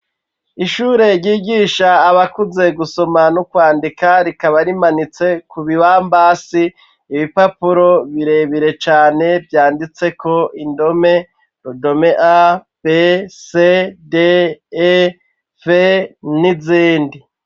Ishure ryigisha abakuze gusoma n'ukwandika rikaba rimanitse ku bibambasi ibipapuro birebire cane vyanditseko indome rodomeya be se d e pe n'izindi.